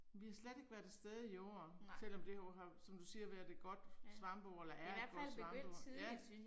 Vi har slet ikke været afsted i år selvom det jo har som du siger været et godt svampeår eller er et godt svampeår ja